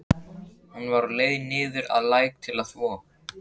Hún var á leið niður að læk til að þvo.